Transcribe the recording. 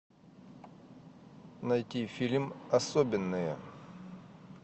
найти фильм особенные